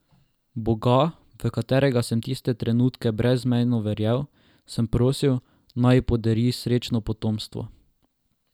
Boga, v katerega sem tiste trenutke brezmejno verjel, sem prosil, naj ji podari srečno potomstvo.